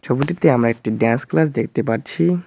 ছবিটিতে আমরা একটি ড্যান্স ক্লাস দেখতে পাচ্ছি।